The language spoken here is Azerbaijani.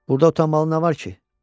Burda utanmalı nə var ki?